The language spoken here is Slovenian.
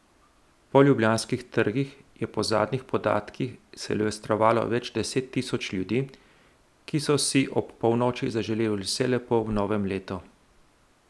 Po ljubljanskih trgih je po zadnjih podatkih silvestrovalo več deset tisoč ljudi, ki so si ob polnoči zaželeli vse lepo v novem letu.